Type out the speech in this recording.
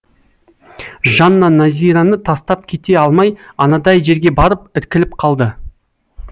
жанна назираны тастап кете алмай анадай жерге барып іркіліп қалды